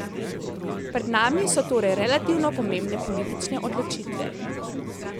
Pred nami so torej relativno pomembne politične odločitve.